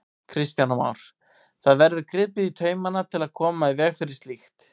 Kristján Már: Það verður gripið í taumana til að koma í veg fyrir slíkt?